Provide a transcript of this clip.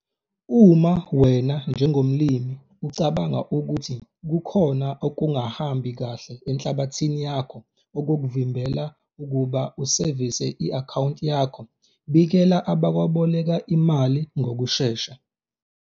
Uma wena njengomlimi ucabanga ukuthi kukhona okungahambi kahle enhlabathini yakho okukuvimbela ukuba usevise i-akhawunti yakho, bikela abakweboleka imali ngokushesha.